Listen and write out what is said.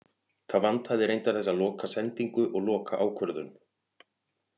Það vantaði reyndar þessa loka sendingu og loka ákvörðun.